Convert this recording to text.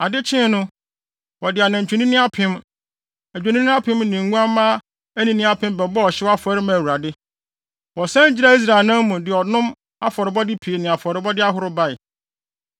Ade kyee no, wɔde anantwinini apem, adwennini apem ne nguamma anini apem bɛbɔɔ ɔhyew afɔre maa Awurade. Wɔsan gyinaa Israel anan mu, de ɔnom afɔrebɔde pii ne afɔrebɔde ahorow bae.